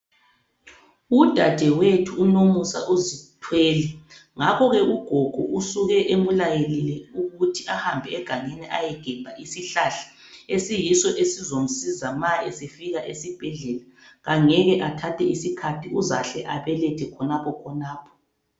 Udadewethu uNomusa uzithwele. Ngakho-ke ugogo usuke emulayelile ukuthi ahambe egangeni ayegebha isihlahla esizamsiza nxa esefika esibhedlela kangeke athathe isikhathi uzahle abelethe khonapho khonapho.